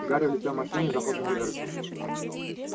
гарри влетел в машину и захлопнул дверцу